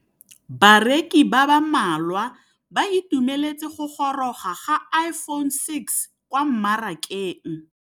Bareki ba ba malwa ba ituemeletse go gôrôga ga Iphone6 kwa mmarakeng.